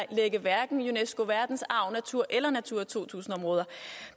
unescos verdensarv eller natura to tusind områder